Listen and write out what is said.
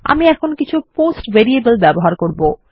আমি এখন কিছু পোস্ট ভেরিয়েবল ব্যবহার করব